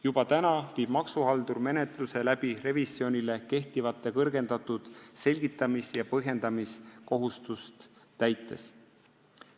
Juba praegu teeb maksuhaldur menetlust kõrgendatud selgitamis- ja põhjendamiskohustust täites.